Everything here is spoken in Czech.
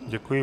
Děkuji.